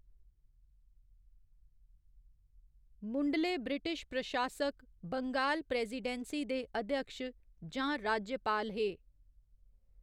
मुंढले British प्रशासक Bengal presidency दे अध्यक्ष जां राज्यपाल हे।